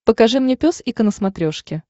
покажи мне пес и ко на смотрешке